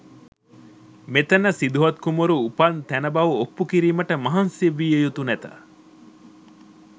මෙතැන සිදුහත් කුමරු උපන් තැන බව ඔප්පු කිරීමට මහන්සි විය යුතු නැත.